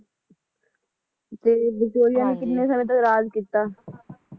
ਤੇ ਵਿਕਟੋਰੀਆ ਨੇ ਕਿੰਨੇ ਸਾਲਾਂ ਤੱਕ ਰਾਜ ਕੀਤਾ?